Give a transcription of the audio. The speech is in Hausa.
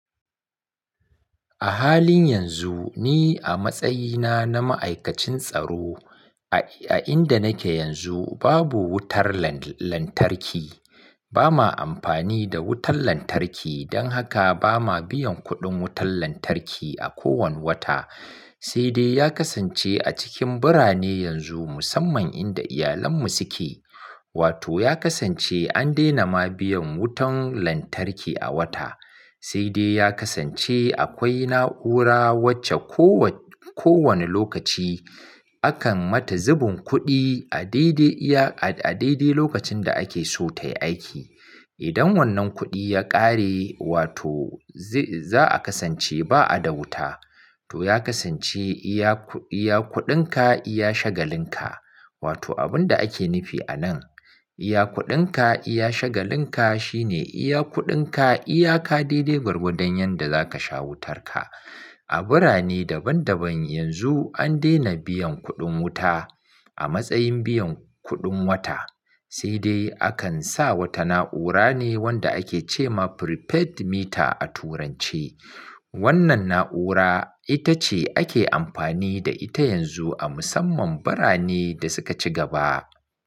A halin yanzu, ni a matsayina na ma'aikacin tsaro, a inda nake yanzu babu wutar lantarki. Ba ma amfani da wutar lantarki, don haka ba ma biyan kuɗin wutar lantarki a kowane wata. Sai dai ya kasance a cikin birane yanzu, musamman inda iyalanmu suke. Wato ya kasance an daina ma biyan wutar lantarki a wata. Sai dai ya kasance akwai na'ura wacce ko wani lokaci, akan mata zubun kuɗi a daidai lokacin da ake so tayi aiki. Idan wannan kuɗi ya ƙare, wato za'a kasance ba a da wuta. To ya kasance, iya kuɗinka iya shagalin ka. Wato abun da ake nufi anan, iya kuɗinka iya shagalin ka, shine iya kuɗinka iya ka daidai gwargwadon yanda zaka sha wutarka. A birane daban daban yanzu an daina biyan kuɗin wuta, a matsayin biyan kuɗin wata. Sai dai akan sa wata na'ura ne, wanda ake ce ma prepaid meter a turanci. Wannan na'ura, ita ce ake amfani da ita yanzu, a musamman birane da suka ci gaba.